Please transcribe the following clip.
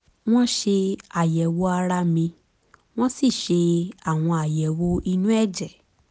wọ́n ṣe àyẹ̀wò ara mi wọ́n sì ṣe àwọn àyẹ̀wò inú ẹ̀jẹ̀